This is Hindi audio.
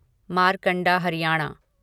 मारकंडा हरियाणा